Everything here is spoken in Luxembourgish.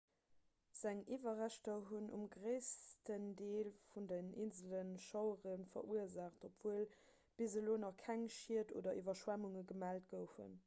seng iwwerreschter hunn um gréissten deel vun den insele schauere verursaacht obwuel bis elo nach keng schied oder iwwerschwemmunge gemellt goufen